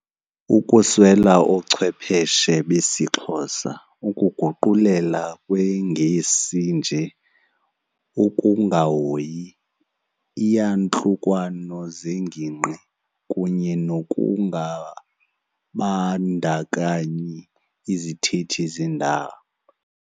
Ukuswela oochwepheshe besiXhosa, ukuguqulela kweNgesi nje, ukungahoyi iiyantlukwano zengingqi kunye nokungabandakanyi izithethi zendawo.